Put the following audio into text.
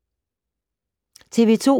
TV 2